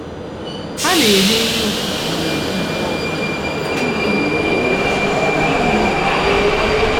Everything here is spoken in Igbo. Ha na-eri nri ụtụtụ n’èzí mgbe ọ bụla ihu igwe na-ekwe. ihu igwe na-ekwe.